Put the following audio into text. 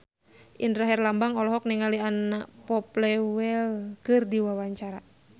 Indra Herlambang olohok ningali Anna Popplewell keur diwawancara